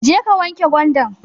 Jeka wanke gwandan